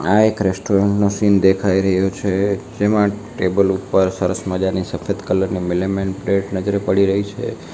આ એક રેસ્ટોરન્ટ નું સીન દેખાય રહ્યું છે જેમા ટેબલ ઉપર સરસ મજાની સફેદ કલર ની મિલિમેન પ્લેટ નજરે પડી રહી છે.